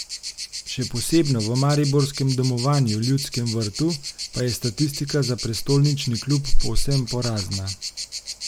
Še posebno v mariborskem domovanju Ljudskem vrtu pa je statistika za prestolnični klub povsem porazna.